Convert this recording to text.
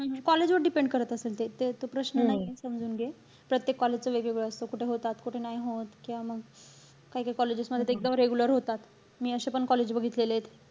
हम्म हम्म college वर depend करत असेल ते. ते तो प्रश्न नाहीये. समजून घे. प्रत्येक college च वेगळं वेगळं असतं. कुठे होता, कुठे नाही होत. किंवा मग, काही-काही colleges मध्ये तर एकदम regular होतात. मी अशे पण college बघितलेले आहेत.